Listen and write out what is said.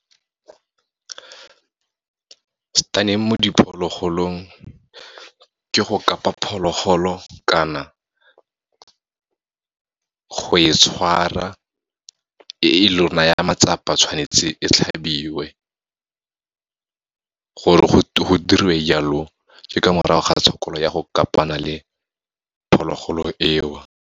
Stunning mo diphologolong, ke go kapa phologolo kana go e tshwara, e lo naya matsapa tshwanetse e tlhabiwe. Gore go diriwe jalo, ke ka morago ga tshokolo ya go kapana le phologolo eo.